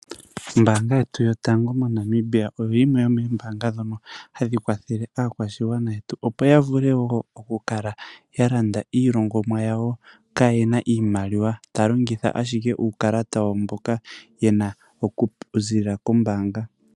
Ooombanga yetu yotango moNamibia oyo yimwe yomoombaanga ndhono hadhi kwathele aakwashigwana yetu opo yavule woo oku kala ya landa iilongomwa yawo kaayena iimaliwa. Taya longitha ashike uukalata wayo mboka yena oku ziilila kombaanga.